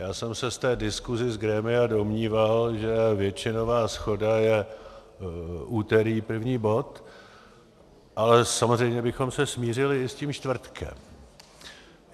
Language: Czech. Já jsem se z té diskuse z grémia domníval, že většinová shoda je úterý první bod, ale samozřejmě bychom se smířili i s tím čtvrtkem.